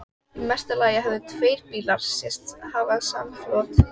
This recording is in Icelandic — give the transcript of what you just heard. Í mesta lagi höfðu tveir bílar sést hafa samflot.